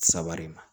Saba de ma